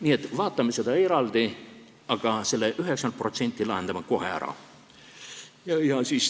Nii et vaatame seda eraldi, aga selle 90% lahendame kohe ära.